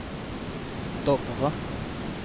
Dovre